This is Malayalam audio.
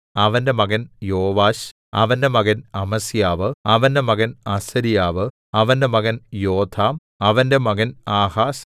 അവന്റെ മകൻ യോവാശ് അവന്റെ മകൻ അമസ്യാവ് അവന്റെ മകൻ അസര്യാവ് അവന്റെ മകൻ യോഥാം അവന്റെ മകൻ ആഹാസ്